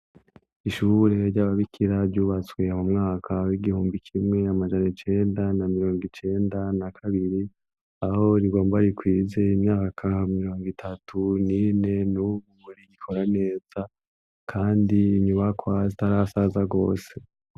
Ishure ry'ababikira ryubatswe mu mwaka w'igihumbi kimwe amajan' icenda na mirongo icenda na kabiri ,aho rigomba rikwize imyaka mirong' itatu nine, nubu rikora neza, kandi inyubakwa zitarasaza gose.